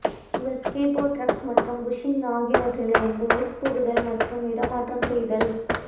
உங்கள் skateboard trucks மற்றும் bushings ஆகியவற்றிலிருந்து உட்புகுத்தல் மற்றும் இடமாற்றம் செய்தல்